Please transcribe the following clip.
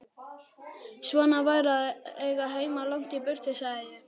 Svona væri að eiga heima langt í burtu, sagði ég.